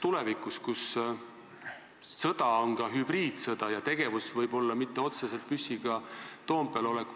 Tulevikus tähendab sõda ka hübriidsõda, see võib olla teistsugune tegevus, mitte otseselt püssiga Toompeal olek.